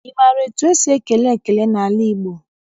Ị maara etu esi ekele ekele n'ala Igbo?